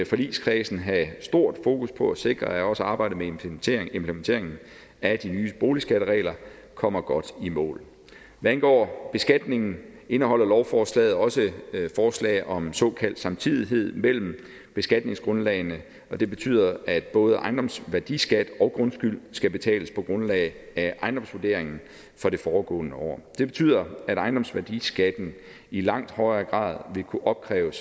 forligskredsen have stort fokus på at sikre at også arbejdet med implementeringen implementeringen af de nye boligskatteregler kommer godt i mål hvad angår beskatningen indeholder lovforslaget også forslag om såkaldt samtidighed mellem beskatningsgrundlagene og det betyder at både ejendomsværdiskat og grundskyld skal betales på grundlag af ejendomsvurderingen fra det foregående år det betyder at ejendomsværdiskatten i langt højere grad vil kunne opkræves